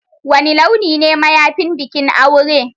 Wani launi ne mayafin bikin aure?